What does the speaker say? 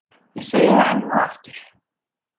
Ég segi það enn og aftur.